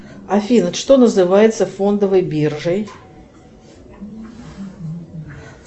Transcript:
афина что называется фондовой биржей